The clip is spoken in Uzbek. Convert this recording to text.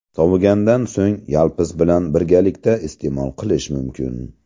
Sovigandan so‘ng yalpiz bilan birgalikda iste’mol qilish mumkin.